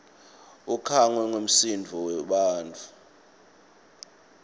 ukhangwe ngumsindvo webantfu